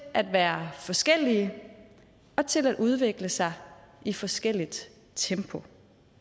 at være forskellige og til at udvikle sig i forskelligt tempo